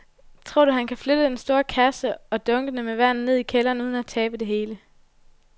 Tror du, at han kan flytte den store kasse og dunkene med vand ned i kælderen uden at tabe det hele?